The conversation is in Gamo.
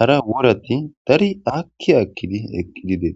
hara worati dari aakiki akikidi eqidi deei